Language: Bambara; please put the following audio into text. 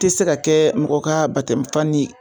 I ti se ka kɛ mɔgɔ ka batamɛ fan che